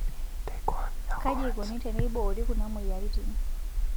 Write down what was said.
Kaji eikoni teneiboori Kuna moyiaritin.